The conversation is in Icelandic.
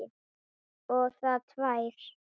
Og það tvær.